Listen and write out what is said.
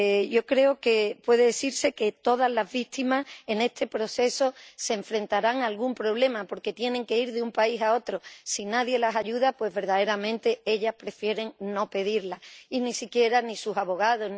Yo creo que puede decirse que todas las víctimas en este proceso se enfrentarán a algún problema porque tienen que ir de un país a otro si nadie las ayuda, pues, verdaderamente ellas prefieren no pedirla, y ni siquiera sus abogados...